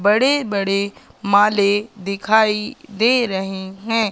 बड़े बड़े माले दिखाई दे रहे है।